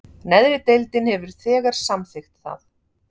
Neðri deildin hefur þegar samþykkt það